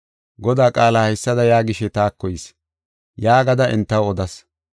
Godaa qaalay haysada yaagishe taako yis yaagada entaw odas.